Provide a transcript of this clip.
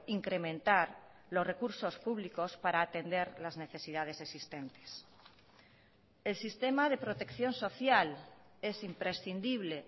incrementar los recursos públicos para atender las necesidades existentes el sistema de protección social es imprescindible